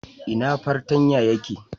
Ina fartanya ya ke?